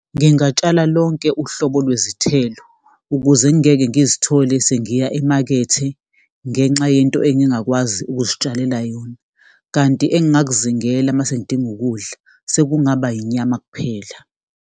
Ngingatshala lonke uhlobo lwezithelo ukuze ngingeke ngizithole sengiya emakethe ngenxa yento engingakwazi ukuzitshalela yona, kanti engingakuzingela uma sengidinga ukudla, sekungaba inyama kuphela.